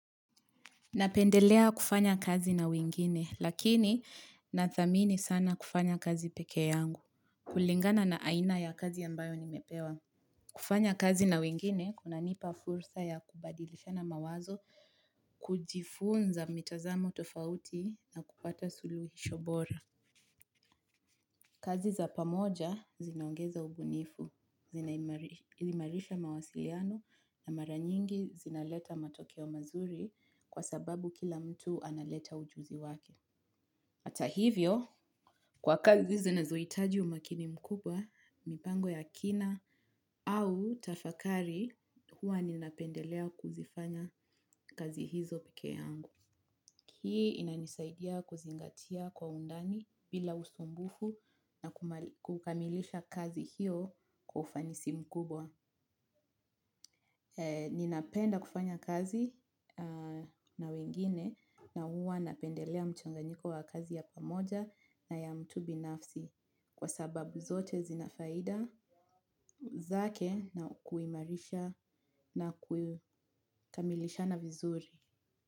Napendelea kufanya kazi na wengine lakini na thamini sana kufanya kazi peke yangu. Kulingana na aina ya kazi ambayo nimepewa. Kufanya kazi na wengine kuna nipa fursa ya kubadilishana mawazo, kujifunza mitazamo tofauti na kupata suluhisho bora. Kazi za pamoja zinaongeza ubunifu, zinaimarisha mawasiliano na mara nyingi zinaleta matokeo mazuri kwa sababu kila mtu analeta ujuzi wake. Hata hivyo, kwa kazi zinazohitaji umakini mkubwa, mipango ya kina au tafakari huwa ninapendelea kuzifanya kazi hizo peke yangu. Hii inanisaidia kuzingatia kwa undani bila usumbufu na kukamilisha kazi hiyo kwa ufanisi mkubwa. Ninapenda kufanya kazi na wengine na huwa napendelea mchanganyiko wa kazi ya pamoja na ya mtu binafsi kwa sababu zote zina faida zake na kuimarisha na kuikamilishana vizuri.